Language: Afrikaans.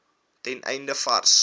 ten einde vars